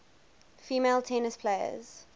female tennis players